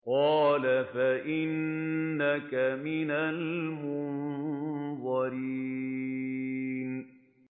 قَالَ فَإِنَّكَ مِنَ الْمُنظَرِينَ